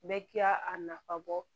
Bɛɛ k'a a nafa bɔ